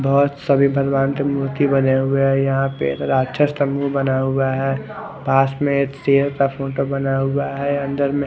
और सभी की बने हुए है यहा पे राक्षस का मुह्ह बना हुआ है पास में एक शेर का फोटो बना हुआ है अंदर में--